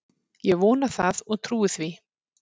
Ég vona það og trúi því